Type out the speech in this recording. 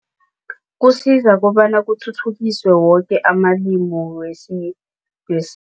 Kusiza kobana kuthuthukiswe woke amalimi